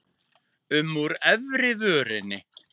um úr efri vörinni.